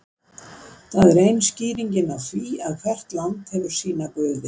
það er ein skýringin á því að hvert land hefur sína guði